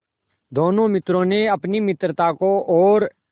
दोनों मित्रों ने अपनी मित्रता को और